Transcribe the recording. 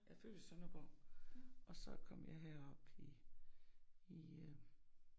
Jeg er født i Sønderborg og så kom jeg herop i i øh